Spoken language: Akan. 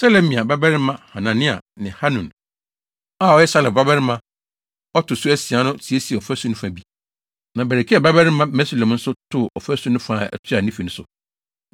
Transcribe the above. Selemia babarima Hanania ne Hanun a ɔyɛ Salaf babarima a ɔto so asia no siesiee ɔfasu no fa bi, na Berekia babarima Mesulam nso too ɔfasu no fa a ɛtoa ne fi so.